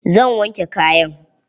Zan wanke kayan.